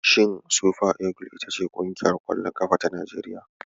Shin sufa igil iyta ce ƙungiyar ƙwallon ƙafar Najeriya?